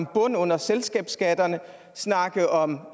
bund under selskabsskatterne og snakke om